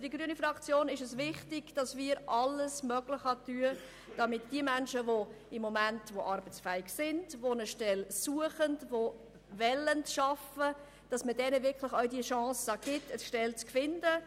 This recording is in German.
Für die grüne Fraktion ist es wichtig, dass wir alles dafür tun, um den Menschen, die momentan arbeitsfähig sind und eine Stelle suchen, die Chance dazu auch zu geben.